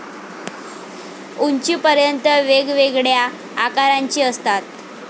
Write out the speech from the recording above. उंचीपर्यंत, वेगवेगळ्या आकारांचे असतात.